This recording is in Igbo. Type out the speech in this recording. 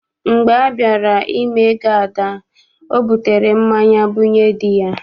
Mgbe a bịara ime ego Ada, ọ butere mmanya bunye dị ya.